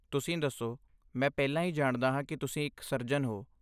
ਤੁਸੀਂ ਦੱਸੋ, ਮੈਂ ਪਹਿਲਾਂ ਹੀ ਜਾਣਦਾ ਹਾਂ ਕਿ ਤੁਸੀਂ ਇੱਕ ਸਰਜਨ ਹੋ।